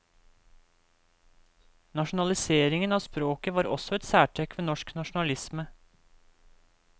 Nasjonaliseringen av språket var også et særtrekk ved norsk nasjonalisme.